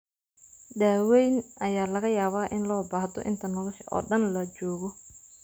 Daaweyn ayaa laga yaabaa in loo baahdo inta nolosha oo dhan la joogo.